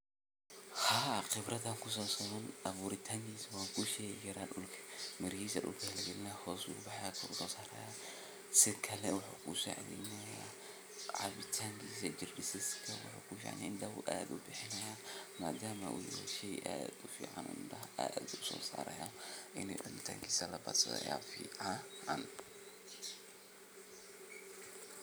Qibratha kusasabsan awuritankisa wankushegaya mirihisa dulka lagalinaya hos bu ubahaya kusosaraya sikale wuhu kugusacitheynaya cabitankisa jirka indah u add ubihinaya madamaa u yahay shey add ufican o indaha add usosarayan in cabitankisa labadsatho aya ficaaannn